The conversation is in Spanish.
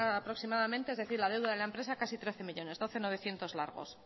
aproximadamente casi trece millónes doce mil novecientos largos